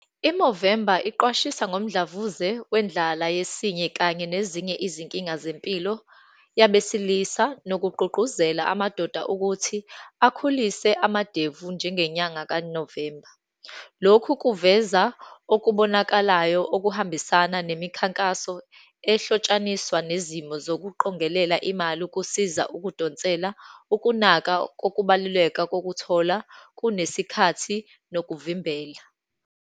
I-Movember iqwashisa ngomdlavuze wendlala yesinye, kanye nezinye izinkinga zempilo yabesilisa, nokugqugquzela amadoda ukuthi akhulise amadevu njengenyanga kaNovemba. Lokhu kuveza okubonakalayo okuhambisana nemikhankaso ehlotshaniswa nezimo zokuqonqelela imali, ukusiza ukudonsela ukunaka kokubaluleka kokuthola kunesikhathi, nokuvimbela.